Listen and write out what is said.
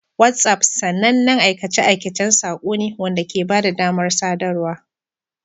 WhatsApp sanannen aikace-aikacen saƙo ne wanda ke ba da damar sadarwa.